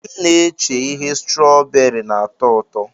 M na-eche ihe strooberi na-atọ ụtọ.